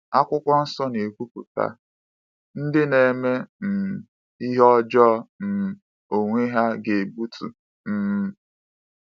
Akwụkwọ Nsọ na-ekwupụta: “Ndị na-eme um ihe ọjọọ um onwe ha ga-egbutu... um